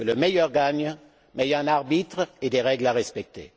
Que le meilleur gagne, mais il y a un arbitre et des règles à respecter.